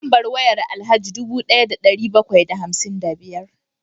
Lambar wayar Alhaji dubu daya da dari bakwai da hamsin da biyar